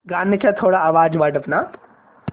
गाण्याचा थोडा आवाज वाढव ना